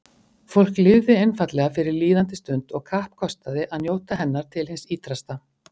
Fólk lifði einfaldlega fyrir líðandi stund og kappkostaði að njóta hennar til hins ýtrasta.